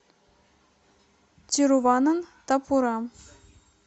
тируванантапурам